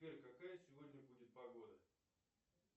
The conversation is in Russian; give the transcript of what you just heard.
сбер какая сегодня будет погода